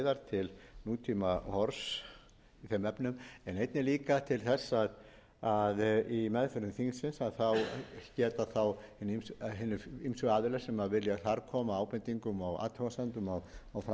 til nútímahorfs í þeim efnum en einnig líka til þess að í meðförum þingsins geta þá hinir ýmsu aðilar sem vilja þar koma ábendingum og athugasemdum á framfæri í meðförum þingsins geti fengið þar